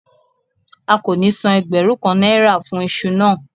A kò ní san ẹgbẹ̀rún kan náírà fún iṣu náà